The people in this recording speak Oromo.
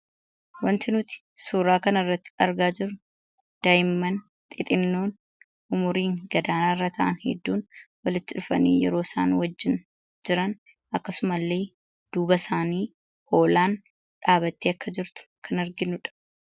Wanti nuti suuraa kana irratti argaa jirru daa'imman xixinnoon umuriin gad aaanaarra ta'an hedduun walitti dhufanii yeroo isaan wajjin jiran akkasuma illee, duuba isaanii hoolaan dhaabattee akka jirtu kan arginu dha.